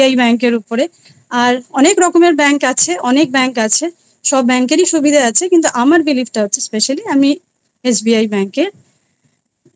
আর অনেক রকমের আরো অনেক bank আছে সব bank এরই সুবিধা আছে কিন্তু আমার believe টা আছে specially আমি SBI bank এ